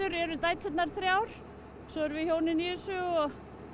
eru dæturnar þrjár svo erum við hjónin í þessu og